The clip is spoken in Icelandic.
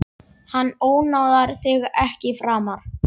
Hann ónáðar þig ekki framar.